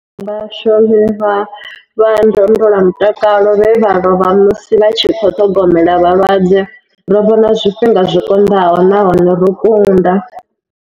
Vhashumi vha ndondolamutakalo vhe vha lovha musi vha tshi khou ṱhogomela vhalwadze. Ro vhona zwifhinga zwi konḓaho nahone ro kunda.